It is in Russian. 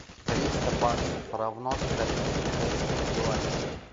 триста баксов равно скольки китайским юаням